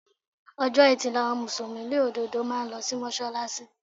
Ọjọ́ Etí ni àwọn Mùsùlùmí òdodo máa ń lo sí Mọ́ṣálásí.